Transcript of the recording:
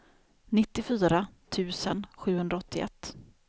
nittiofyra tusen sjuhundraåttioett